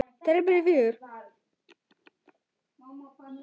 Þeirra börn eru fjögur.